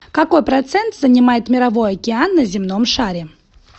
какой процент занимает мировой океан на земном шаре